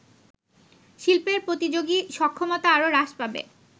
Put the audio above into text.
শিল্পের প্রতিযোগী সক্ষমতা আরও হ্রাস পাবে